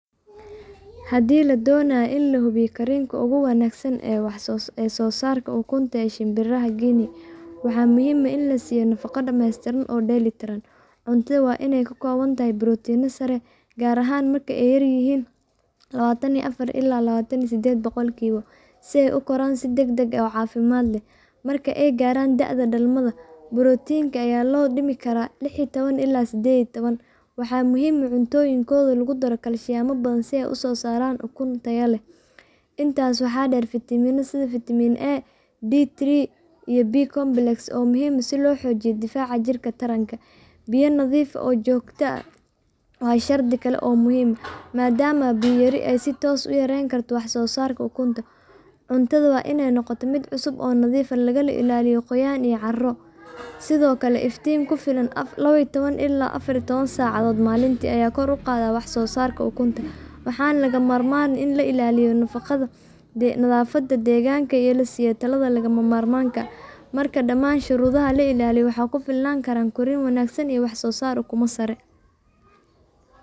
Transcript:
Haddii la doonayo in la hubiyo korriinka ugu wanaagsan iyo soosaarka ukunta ee shimbiraha Guinea, waxaa muhiim ah in la siiyo nafaqo dhameystiran oo dheelitiran. Cuntadooda waa in ay ka kooban tahay borotiin sare, gaar ahaan marka ay yaryihiin , si ay u koraan si degdeg ah oo caafimaad leh. Marka ay gaaraan da’da dhalmada, borotiinka ayaa loo dhimi karaa ilaa 16–18%, waxaana muhiim ah in cuntooyinkooda lagu daro kaalshiyam badan si ay u soo saaraan ukun tayo leh. Intaas waxaa dheer, fiitamiino sida Vitamin A, D3, E iyo B-complex waa muhiim si loo xoojiyo difaaca jirka iyo taranka. Biyo nadiif ah oo joogto ah waa shardi kale oo muhiim ah, maadaama biyo yari ay si toos ah u yarayn karto wax-soosaarka ukunta. Cuntada waa in ay noqotaa mid cusub oo nadiif ah, lagana ilaaliyo qoyaan iyo caaryo. Sidoo kale, iftiin ku filan saacadood maalintii) ayaa kor u qaada waxsoosaarka ukunta, waxaana lagama maarmaan ah in la ilaaliyo nadaafadda deegaanka iyo in la siiyo tallaalada lagama maarmaanka ah. Marka dhammaan shuruudahan la ilaaliyo, waxaa la filan karaa korriin wanaagsan iyo wax-soosaar ukumo oo sareeya.